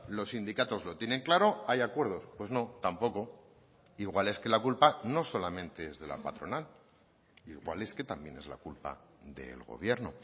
los sindicatos lo tienen claro hay acuerdos pues no tampoco igual es que la culpa no solamente es de la patronal igual es que también es la culpa del gobierno